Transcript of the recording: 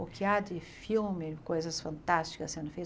O que há de filme, coisas fantásticas sendo